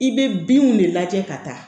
I bɛ binw de lajɛ ka taa